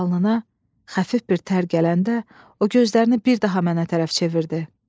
Alnına xəfif bir tər gələndə, o gözlərini bir daha mənə tərəf çevirdi.